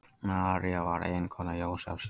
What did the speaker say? María var eiginkona Jósefs.